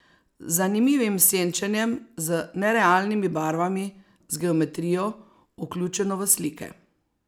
Z zanimivim senčenjem, z nerealnimi barvami, z geometrijo, vključeno v slike.